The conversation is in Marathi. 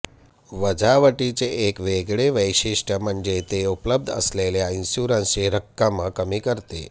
वजावटीचे एक वेगळे वैशिष्ट्य म्हणजे ते उपलब्ध असलेल्या इन्शुरन्सची रक्कम कमी करते